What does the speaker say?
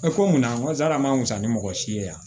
A bɛ ko mun na n ko sali a mansa ni mɔgɔ si ye yan